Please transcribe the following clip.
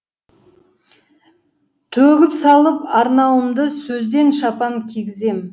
төгіп салып арнауымды сөзден шапан кигізем